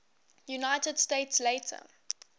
united states later